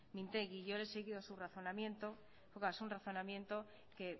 mintegi yo le he seguido su razonamiento es un razonamiento que